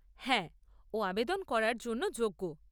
হ্যাঁ, ও আবেদন করার জন্য যোগ্য।